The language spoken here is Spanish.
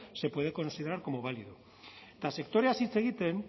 se puede considerar como válido eta sektoreaz hitz egiten